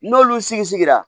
N'olu sigi sigira